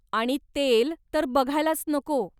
आणि तेल तर बघायलाच नको!